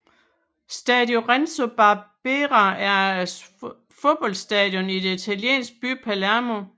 Stadio Renzo Barbera er et fodboldstadion i den italienske by Palermo